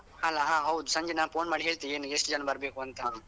ಅಲ ಹ ಹೌದು ಸಂಜೆ ನಾ phone ಮಾಡಿ ಹೇಳ್ತೇನೆ ಏನು ಎಷ್ಟು ಜನ ಬರ್ಬೆಕು ಅಂತ.